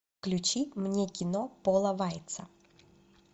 включи мне кино пола вайтса